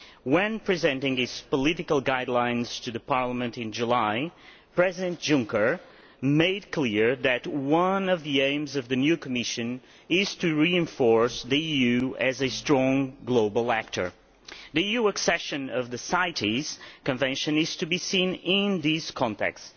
When presenting these political guidelines to Parliament in July, President Juncker made clear that one of the aims of the new Commission is to reinforce the EU as a strong global actor. The EU accession to the CITES Convention is to be seen in this context.